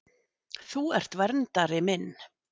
Þú ert verndari minn.